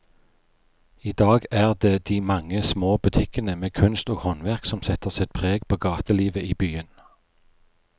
I dag er det de mange små butikkene med kunst og håndverk som setter sitt preg på gatelivet i byen.